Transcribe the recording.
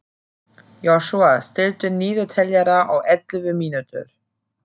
Joshua, stilltu niðurteljara á ellefu mínútur.